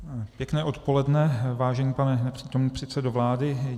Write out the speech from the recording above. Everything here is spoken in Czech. Pěkné odpoledne, vážený pane nepřítomný předsedo vlády.